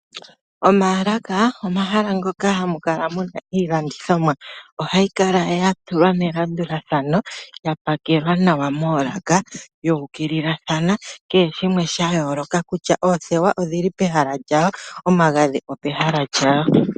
Omaalaka omahala ngoka hamu kala muna iilandithomwa. Ohayi kala ya tulwa melandulathano. Ya pakelwa nawa moolaka , yuukililathana. Kehe shimwe sha yooloka kutya oothewa odhili pehala lyawo nomagadhi opehala lyago.